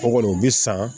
O kɔni o bɛ san